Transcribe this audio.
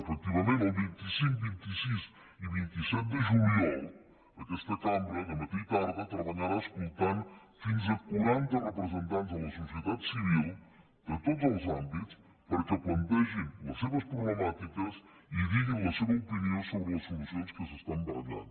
efectivament el vint cinc vint sis i vint set de juliol aquesta cambra dematí i tarda treballarà escoltant fins a quaranta representats de la societat civil de tots els àmbits perquè plantegin les seves problemàtiques i diguin la seva opinió sobre les solucions que s’estan barallant